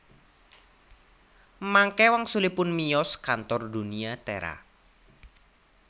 Mangke wangsulipun miyos kantor Dunia Tera